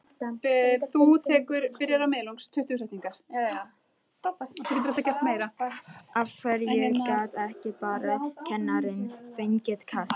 Af hverju gat ekki bara kennarinn fengið kast?